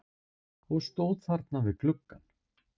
Og stóð þarna við gluggann.